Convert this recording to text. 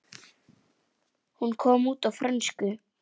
Hún kom út á frönsku